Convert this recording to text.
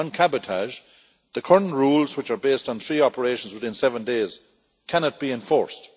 On cabotage, the current rules, which are based on three operations within seven days, cannot be enforced.